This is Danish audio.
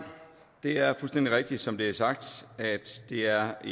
det er fuldstændig rigtigt som det er sagt at det er